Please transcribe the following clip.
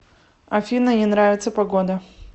афина не нравится погода